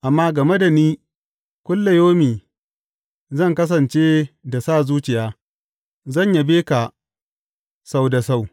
Amma game da ni, kullayaumi zan kasance da sa zuciya; zan yabe ka sau da sau.